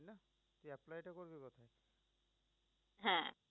হ্যাঁ